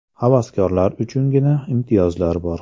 Havaskorlar uchungina imtiyozlar bor.